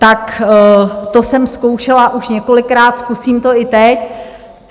Tak to jsem zkoušela už několikrát, zkusím to i teď.